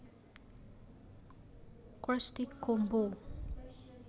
Krusty Combo